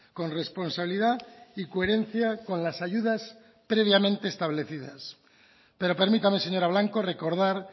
con responsabilidad y coherencia con las ayudas previamente establecidas pero permítame señora blanco recordar